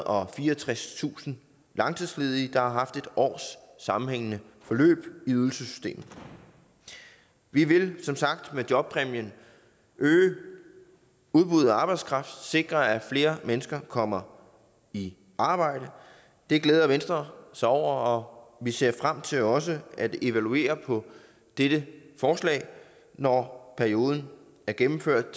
og fireogtredstusind langtidsledige der er haft en års sammenhængende forløb i ydelsessystemet vi vil som sagt med jobpræmien øge udbuddet af arbejdskraft sikre at flere mennesker kommer i arbejde det glæder venstre sig over og vi ser frem til også at evaluere dette forslag når perioden er gennemført